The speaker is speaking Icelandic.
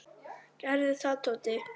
Gerðu það, Tóti!